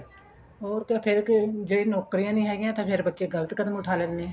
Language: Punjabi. ਹੋਰ ਤੇ ਫੇਰ ਜੇ ਨੋਕਰੀਆਂ ਨਹੀਂ ਹੈਗੀਆਂ ਫੇਰ ਬੱਚੇ ਗਲਤ ਕਦਮ ਉੱਠਾ ਲੈਂਦੇ ਏ